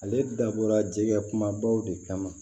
Ale dabɔra jɛgɛ kumabaw de kama